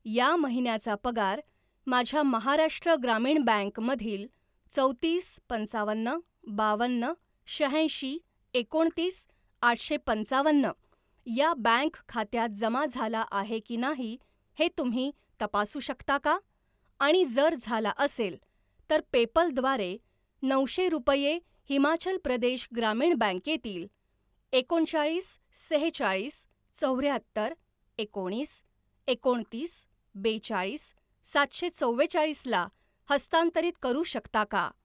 या महिन्याचा पगार माझ्या महाराष्ट्र ग्रामीण बँक मधील चौतीस पंचावन्न बावन्न शहाऐंशी एकोणतीस आठशे पंचावन्न या बँक खात्यात जमा झाला आहे की नाही हे तुम्ही तपासू शकता का आणि जर झाला असेल, तर पेपल द्वारे नऊशे रुपये हिमाचल प्रदेश ग्रामीण बँकेतील एकोणचाळीस सेहेचाळीस चौऱ्याहत्तर एकोणीस एकोणतीस बेचाळीस सातशे चव्वेचाळीसला हस्तांतरित करू शकता का?